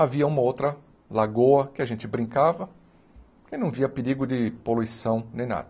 Havia uma outra lagoa que a gente brincava e não via perigo de poluição nem nada.